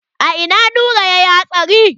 A ina Nura yayi hatsari?